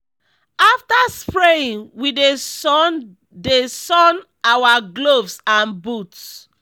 after spraying we dey sun dey sun our gloves and boots.